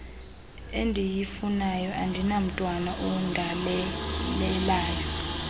endiyifunayo andinamntwana ondalelelayo